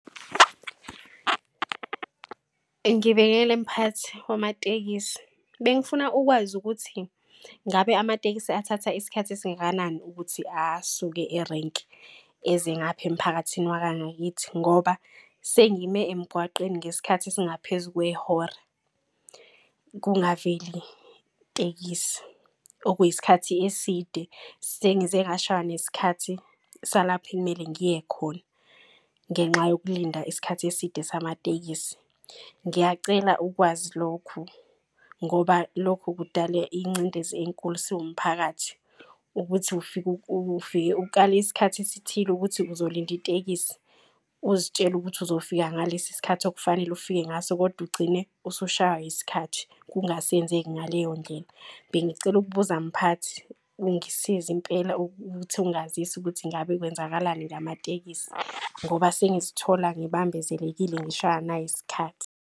Ngibekele mphathi wamatekisi, bengifuna ukwazi ukuthi ngabe amatekisi athatha isikhathi esingakanani. Ukuthi asuke erenki eze ngapha emphakathini wakangakithi. Ngoba sengime emgwaqeni ngesikhathi esingaphezu kwehora kungaveli tekisi. Okuyisikhathi eside sengize ngashaywa nesikhathi salapha ekumele ngiye khona ngenxa yokulinda isikhathi eside samatekisi. Ngiyacela ukwazi lokhu ngoba lokhu kudala ingcindezi enkulu siwumphakathi ukuthi ufike ukale isikhathi esithile ukuthi uzolinda itekisi, uzitshele ukuthi uzofika ngalesi skhathi okufanele ufike ngaso kodwa ugcine usushaywa yiskhathi kungasenzeki ngaleyo ndlela. Bengicela ukubuza mphathi ungisize impela ukuthi ungazise ukuthi ngabe kwenzakalani ngamatekisi. Ngoba sengizithola ngibambezelekile ngishaywa nayi isikhathi.